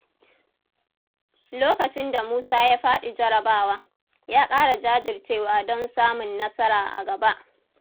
Lokacin da Musa ya faɗi jarrabawa, ya ƙara jajircewa don samun nasara a gaba.